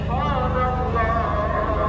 Sübhənallah! Sübhənallah!